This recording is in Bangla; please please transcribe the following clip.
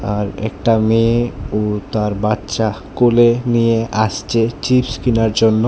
আর একটা মেয়ে ও তার বাচ্চা কোলে নিয়ে আসছে চিপস কিনার জন্য।